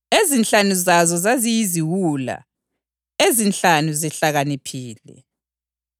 Ezinhlanu zazo zaziyiziwula, ezinhlanu zihlakaniphile.